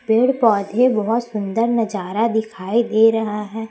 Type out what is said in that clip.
पेड़ पौधे बहोत सुंदर नजारा दिखाई दे रहा है।